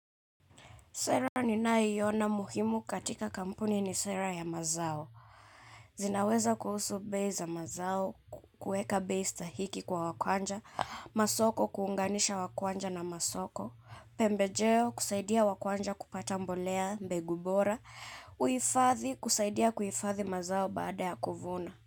Sera ninaiyona muhimu katika kampuni ni sera ya mazao. Zinaweza kuhusu bei za mazao, kueka bei stahiki kwa wakuanja, masoko kuunganisha wakuanja na masoko, pembejeo kusaidia wakuanja kupata mbolea mbengu bora, kuifathi kusaidia kuhifathi mazao baada ya kuvuna.